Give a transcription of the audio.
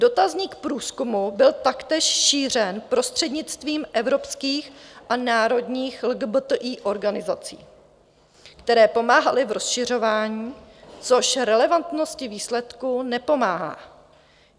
Dotazník průzkumu byl taktéž šířen prostřednictvím evropských a národních LGBTI organizací, které pomáhaly v rozšiřování, což relevantnosti výsledků nepomáhá.